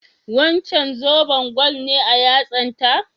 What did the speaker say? Wancan zoben gwal ne a yatsan ta?